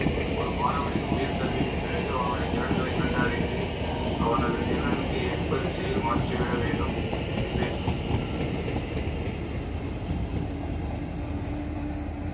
ஒரு மாணவனின் உயர் கல்விக்கு பிறகு அவனுடைய திறன்களை கண்டறிந்து அவனது திறனுக்கு ஏற்ப திசையில் மாற்றிவிட வேண்டும் இனிமேல்